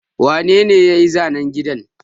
Wane ne ya yi zanen gidan?